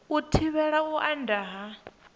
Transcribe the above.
u thivhela u anda ha